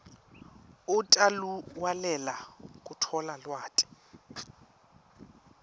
utawulalelela kutfola lwati